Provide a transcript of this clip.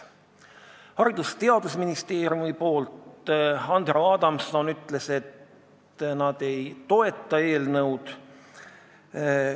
Haridus- ja Teadusministeeriumi esindaja Andero Adamson ütles, et nad ei toeta eelnõu.